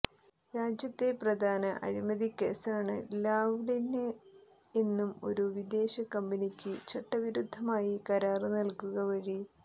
രാജ്യത്തെ പ്രധാന അഴിമതിക്കേസാണ് ലാവ്ലിന് എന്നും ഒരു വിദേശ കമ്പനിക്ക് ചട്ടവിരുദ്ധമായി കരാര് നല്കുക വഴി